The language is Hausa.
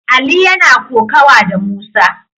Ali yana kokawa da Musa.